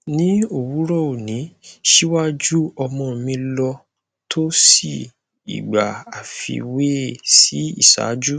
ni owurọ oni siwaju ọmọ mi lọ to sii igba afiwe si iṣaaju